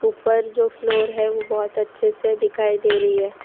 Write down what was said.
ऊपर जो फ्लोर है वो बहोत अच्छे से दिखाई दे रही है।